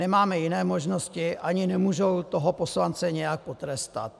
Nemáte jiné možnosti ani nemůžou toho poslance nijak potrestat.